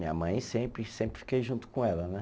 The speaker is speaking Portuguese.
Minha mãe, sempre sempre fiquei junto com ela, né?